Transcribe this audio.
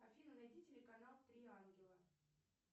афина найди телеканал три ангела